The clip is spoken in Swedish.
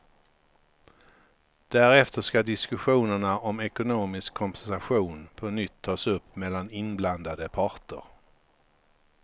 Därefter ska diskussionerna om ekonomisk kompensation på nytt tas upp mellan inblandade parter.